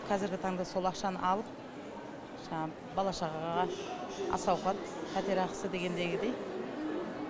қазіргі таңда сол ақшаны алып жаңағы бала шағаға ас ауқат пәтер ақысы дегендегідей